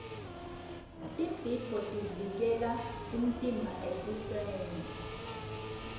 tibhidvo tivikela umtimba etifeni